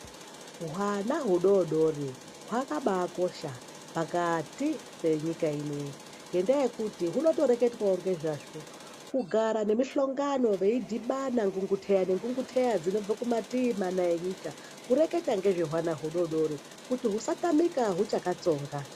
Hwana hudodori hwakabakosha pakati penyika inoiyi. Ngendaa yekuti unotoreketwavo ngezvazvo kugara ngemihlongano veidhibana ngunguteya nengunguteya dzinobva kumativi mana enyika. Kureketa nezvehwana hudodori kuti husatamika huchakatsonga.